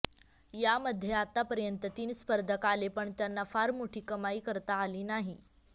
यामध्ये आतापर्यंत तीन स्पर्धक आले पण त्यांना फार मोठी कमाई करता आली नाही